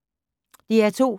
DR2